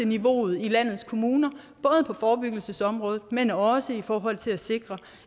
niveauet i landets kommuner både på forebyggelsesområdet men også i forhold til at sikre